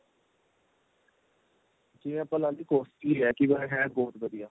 ਜਿਵੇਂ ਆਪਾਂ ਲਾ ਲੀਏ costly ਏ ਪਰ ਹੈ ਬਹੁਤ ਵਧੀਆ